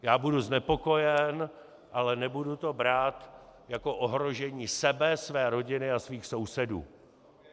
Já budu znepokojen, ale nebudu to brát jako ohrožení sebe, své rodiny a svých sousedů.